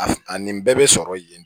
A a nin bɛɛ bɛ sɔrɔ yen